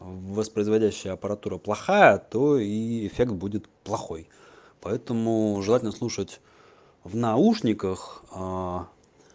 воспроизводящая аппаратура плохая то и эффект будет плохой поэтому желательно слушать в наушниках а